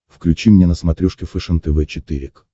включи мне на смотрешке фэшен тв четыре к